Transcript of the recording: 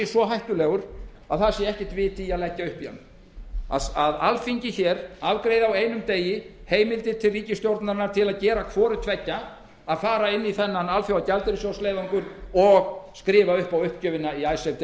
svo hættulegur að ekkert vit sé í að leggja upp í hann að alþingi afgreiði hér á einum degi heimildir til ríkisstjórnarinnar til að gera hvort tveggja að fara inn í þennan alþjóðagjaldeyrissjóðsleiðangur og skrifa upp á uppgjöfina í icesave